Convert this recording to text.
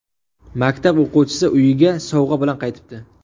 Maktab o‘quvchisi uyiga sovg‘a bilan qaytibdi.